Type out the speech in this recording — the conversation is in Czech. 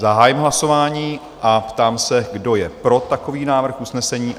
Zahájím hlasování a ptám se, kdo je pro takový návrh usnesení?